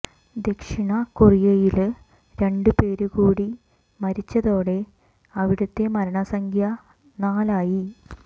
ദക്ഷിണ കൊറിയയില് രണ്ട് പേര് കൂടി മരിച്ചതോടെ അവിടത്തെ മരണസംഖ്യ നാലായി